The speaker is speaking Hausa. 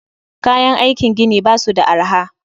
Kayan aiki gini basu da arha